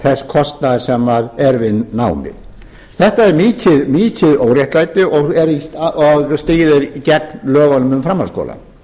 þess kostnaðar sem er við námið þetta er mikið óréttlæti og stríðir gegn lögunum um framhaldsskóla